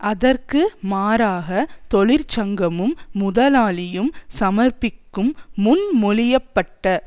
அதற்கு மாறாக தொழிற்சங்கமும் முதலாளியும் சமர்ப்பிக்கும் முன்மொழிய பட்ட